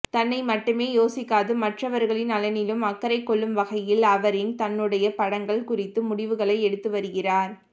தன்னை மட்டுமே யோசிக்காது மற்றவர்களின் நலனிலும் அக்கறை கொள்ளும் வகையில் அவரின் தன்னுடைய படங்கள் குறித்து முடிவுகளை எடுத்து வருகிறார்